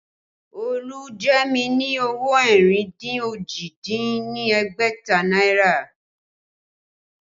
Olu jẹ mí ní owó ẹ̀rìn dín òjì dín ní ẹ̀ẹ́dẹ́gbẹ̀ta náírà